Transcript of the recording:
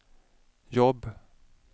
jobb